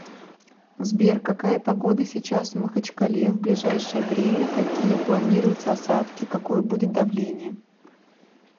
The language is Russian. сбер какая погода сейчас в махачкале в ближайшее время какие планируются осадки какое будет давление